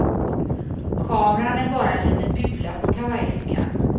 Kameran är bara en liten bula på kavajfickan.